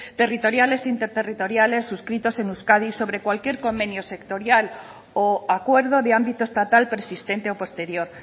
territoriales interterritoriales suscritos en euskadi sobre cualquier convenio sectorial o acuerdo de ámbito estatal persistente o posterior